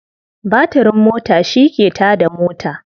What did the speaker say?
Batirin mota shi ke ta da mota.